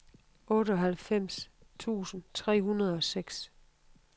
otteoghalvfems tusind tre hundrede og seks